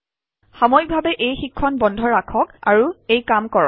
সাময়িকভাৱে এই শিক্ষণ বন্ধ ৰাখক আৰু এই কাম কৰক